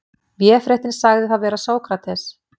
Véfréttin sagði það vera Sókrates.